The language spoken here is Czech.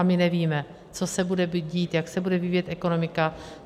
A my nevíme, co se bude dít, jak se bude vyvíjet ekonomika.